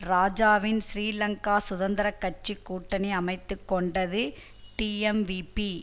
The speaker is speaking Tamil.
இராஜாவின் ஸ்ரீலங்கா சுதந்திர கட்சி கூட்டணி அமைத்துக்கொண்டது டீஎம்விபீ